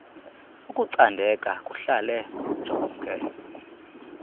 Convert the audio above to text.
ukucandeka kuhlale kujonge